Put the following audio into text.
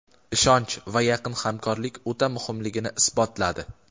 ishonch va yaqin hamkorlik o‘ta muhimligini isbotladi.